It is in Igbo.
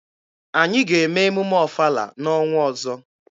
Anyị ga-eme emume ọfala n'ọnwa ọzọ.